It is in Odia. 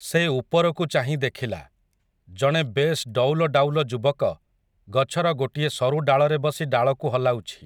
ସେ ଉପରକୁ ଚାହିଁ ଦେଖିଲା, ଜଣେ ବେଶ୍ ଡଉଲଡାଉଲ ଯୁବକ, ଗଛର ଗୋଟିଏ ସରୁ ଡାଳରେ ବସି ଡାଳକୁ ହଲାଉଛି ।